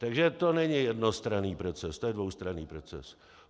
Takže to není jednostranný proces, to je dvoustranný proces.